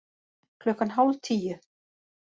Klukkan hálf tíu